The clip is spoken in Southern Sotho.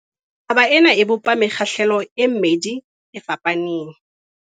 Taba ena e bopa mekgahlelo e mmedi e fapaneng.